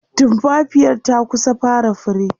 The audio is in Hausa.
tumfafiyar ta kusa fara fure